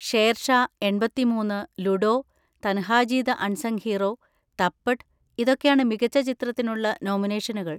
ഷേർഷാ, എൺപത്തി മൂന്ന്, Ludo, Tanhaji the unsung hero, Thappad, ഇതൊക്കെയാണ് മികച്ച ചിത്രത്തിനുള്ള നോമിനേഷനുകൾ.